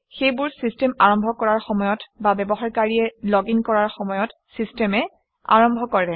সেইবোৰ চিষ্টেম আৰম্ভ কৰাৰ সময়ত বা ব্যৱহাৰকাৰীয়ে লগিন কৰাৰ সময়ত চিষ্টেমে আৰম্ভ কৰে